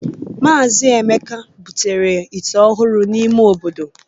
Mazị Emeka butere ite ọhụrụ n'ime obodo